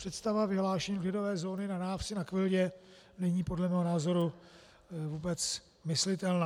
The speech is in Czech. Představa vyhlášení klidové zóny na návsi na Kvildě není podle mého názoru vůbec myslitelná.